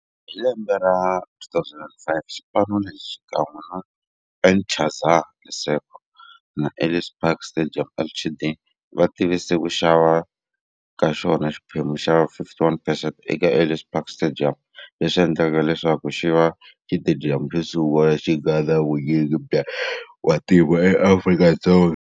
Hi lembe ra 2005, xipano lexi, xikan'we na Interza Lesego na Ellis Park Stadium Ltd, va tivise ku xava ka xona xiphemu xa 51 percent eka Ellis Park Stadium, leswi endleke leswaku xiva xitediyamu xosungula lexi nga na vunyingi bya vantima eAfrika-Dzonga.